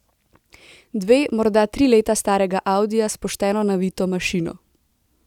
Dve, morda tri leta starega audija s pošteno navito mašino.